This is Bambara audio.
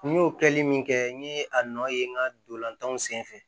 N y'o kɛli min kɛ n ye a nɔ ye n ka ntolantanw senfɛ